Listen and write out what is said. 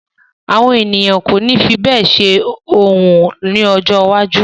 Àwọn ènìyàn kò ní fi bẹ́ẹ̀ ṣe orò ni ojó iwájú.